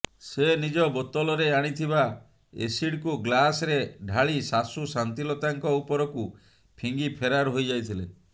ସେ ନିଜ ବୋତଲରେ ଆଣିଥିବା ଏସିଡ୍କୁ ଗ୍ଲାସ୍ରେ ଢାଳି ଶାଶୂ ଶାନ୍ତିଲତାଙ୍କ ଉପରକୁ ଫିଙ୍ଗି ଫେରାର ହୋଇଯାଇଥିଲେ